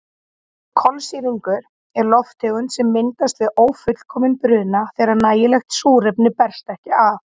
Kolsýrlingur er lofttegund sem myndast við ófullkominn bruna þegar nægilegt súrefni berst ekki að.